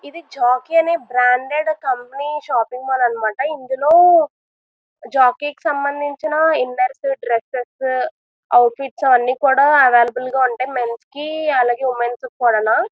ఇది జాకీ అనే branded company shopping అన్నమాట ఇందులో జాకీ కి సంబంధించిన ఇన్నర్సు డ్రెస్సెస్ అవుట్ ఫిట్స్ అన్ని కూడా అవైలబుల్ గా ఉంటాయి. మెన్స్ కి అలాగే ఉమెన్స్ కి కూడానా.